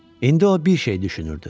İndi o bir şey düşünürdü.